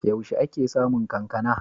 Yaushe ake samun kankana?